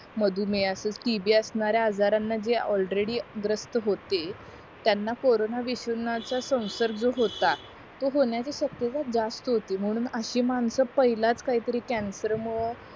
मधुमेह असं सीबी असणाऱ्या आजारांना जे ऑलरेडी ग्रस्थ होते त्यांना कोरोना विषाणू चा सवनसंग्र होता तो होण्याचे शक्यता जास्त होती म्हूणन अशी माणसं पहिलाच काही तरी कॅन्सर मूळ